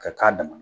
Ka k'a damana